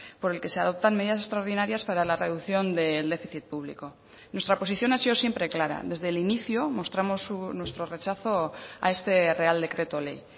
por el que se adoptan medidas extraordinarias para la reducción del déficit público nuestra posición ha sido siempre clara desde el inicio mostramos nuestro rechazo a este real decreto ley